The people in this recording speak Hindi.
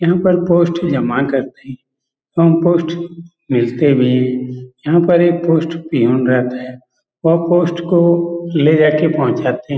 यहां पर पोस्ट जमा करते हैं एवं पोस्ट मिलते भी हैं यहां पर एक पोस्ट पियोन रहता है वह पोस्ट को ले जाके पहुंचाते हैं।